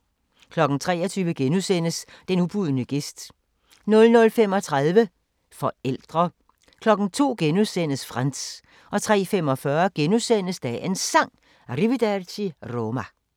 23:00: Den ubudne gæst * 00:35: Forældre 02:00: Frantz * 03:45: Dagens Sang: Arrivederci Roma *